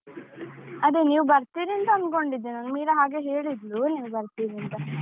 ಅದೇ ನೀವು ಬರ್ತೀರಿ ಅಂತ ಅನ್ಕೊಂಡಿದ್ದೆ ನಾನು, ಮೀರಾ ಹಾಗೆ ಹೇಳಿದ್ಲು ನೀವು ಬರ್ತೀರಿ ಅಂತ.